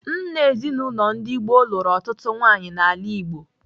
Nna ezinaụlọ ndị gboo lụrụ ọtụtụ nwaanyị n'ala Igbo.